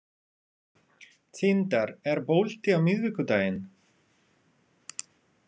Tindar, er bolti á miðvikudaginn?